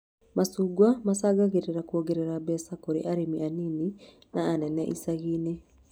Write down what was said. Macungwa macangagĩra kuongerera mbeca kũrĩ arĩmi anini na anene icagi-inĩ